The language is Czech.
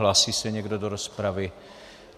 Hlásí se někdo do rozpravy?